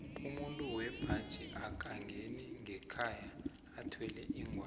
umuntu wembaji akangeni ngekhaya athwele ingwani